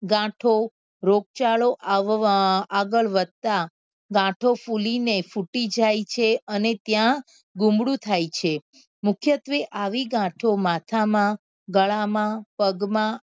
ગાંઠો રોગચાળો આવવા આગળ વધતા ગાંઠો ફૂલી ને ફૂટી જાય છે અને ત્યાં ગુમડું થાય છે મુખ્યત્વે આવી ગાંઠો માથા માં ગળા માં પગ માં